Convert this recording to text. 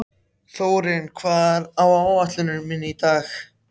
Þórinn, hvað er á áætluninni minni í dag?